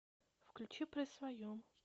включи при своем